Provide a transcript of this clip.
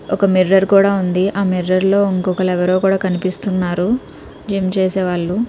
ఒక మిర్రర్ కూడా ఉంది ఆ మిర్రర్ లో ఉంకొకలు ఎవరో కూడా కన్పిస్తున్నారు జిం చేసేవాళ్లు.